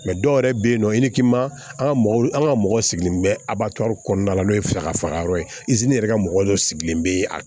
Mɛ dɔw yɛrɛ bɛ yen nɔ an ka mɔgɔw an ka mɔgɔw sigilen bɛ a kɔnɔna la n'o ye fɛɛrɛ faga yɔrɔ ye yɛrɛ ka mɔgɔ dɔ sigilen bɛ a